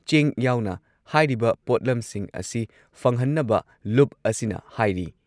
ꯆꯦꯡ ꯌꯥꯎꯅ ꯍꯥꯏꯔꯤꯕ ꯄꯣꯠꯂꯝꯁꯤꯡ ꯑꯁꯤ ꯐꯪꯍꯟꯅꯕ ꯂꯨꯞ ꯑꯁꯤꯅ ꯍꯥꯏꯔꯤ